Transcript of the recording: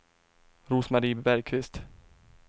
Rose-Marie Bergkvist